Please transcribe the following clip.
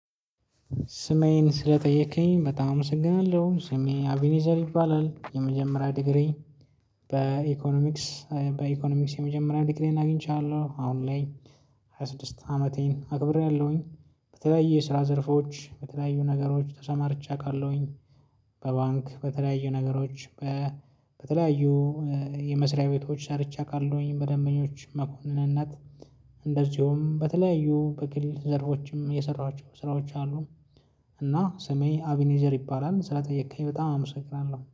ስሜን ስለጠየከኝ በጣም አመሰግናለሁ ስሜ አቢኔዘር ይባላል። የመጀመሪያ ዲግሪ በኢኮኖሚክስ በኢኮኖሚክስ የመጀመሪያ ዲግሪዬን አግኝቻለሁ አሁን ላይ ሃያ ስድስት አመቴን አክብሬያለሁኝ። በየ ስራ ዘርፎች በተለያዩ ነገሮች ተሰማርቼ አውቃለሁኝ። በባንክ በተለያዩ ነገሮች። በተለያዩ የመስሪያ ቤቶች ሰርቼ አቃለውኝ በደንበኞች መኮንንነት። እንደዚሁም በተለያዩ በክሊል ዘርፎችም የሰራኋቸው ስራዎች አሉ። እና ሰሜ አቢኔዘር ይባላል ስለጠየከኝ በጣም አምሰግናለሁ